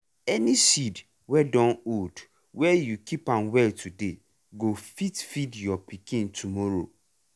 any seed wey don old wey you keep am well today go fit feed your pikin tomorrow.